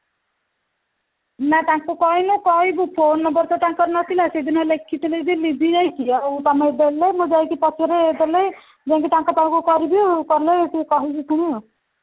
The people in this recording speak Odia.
ନା ତାଙ୍କୁ କହିନୁ କହିବୁ phone number ତ ତାଙ୍କର ନଥିଲା ସେଦିନ ଲେଖିଥିଲେ ଯେ ଲିଭି ଯାଇଛି ଆଉ ତମେ ଦେଲେ ମୁଁ ଯାଇକି ପଛରେ ଦେଲେ ମୁଁ ଯାଇକି ତାଙ୍କ ପାଖକୁ କରିବି ଆଉ କଲେ କହିବି ପୁଣି